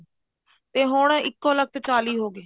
ਤੇ ਹੁਣ ਇੱਕੋਲਖਤ ਚਾਲੀ ਹੋਗੇ